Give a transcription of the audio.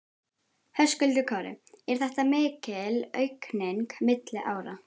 Höskuldur Kári: Er þetta mikil aukning milli ára?